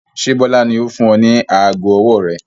Ṣé Bọlá ni ó fún ọ ní aago ọwọ́ rẹ?